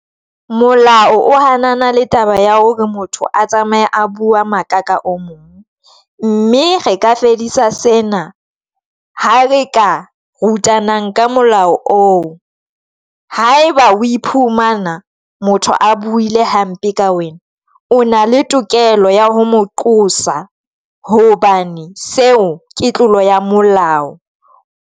Molao o hanana le taba ya hore motho a tsamaye a bua maka ka o mong, mme re ka fedisa sena ha re ka rutana ka molao o ha e ba oye phumana motho a buile hampe ka wena. O na le tokelo ya ho mo qosa hobane seo ke tlolo ya molao.